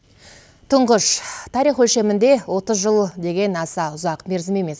тұңғыш тарих өлшемінде отыз жыл деген аса ұзақ мерзім емес